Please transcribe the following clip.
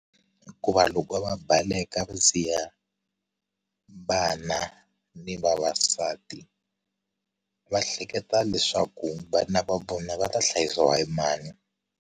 Hikuva loko va baleka va siya vana ni vavasati va hleketa leswaku vana va vona va ta hlayisiwa hi mani.